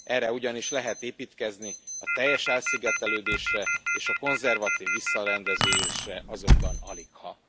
Erre ugyanis lehet építkezni, a teljes elszigetelődésre és a konzervatív visszarendeződésre azonban aligha.